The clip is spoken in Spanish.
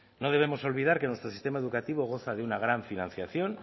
no debemos olvidar que nuestro sistema educativo goza de una gran financiación